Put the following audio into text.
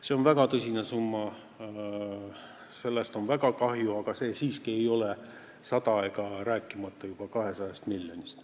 See on väga tõsine summa, sellest on väga kahju, aga see siiski ei ole 100 miljonit, rääkimata 200 miljonist.